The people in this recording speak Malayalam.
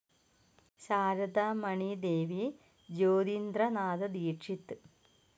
ശാരദ മണി ദേവി, ജ്യോതിന്ദ്ര നാഥ ദീക്ഷിത്.